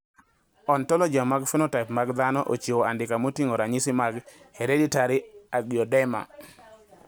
Ontologia mar phenotype mag dhano ochiwo andika moting`o ranyisi mag Hereditary angioedema.